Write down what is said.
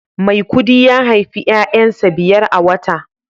maikudi ya haifi 'ya'yansa biyar a wata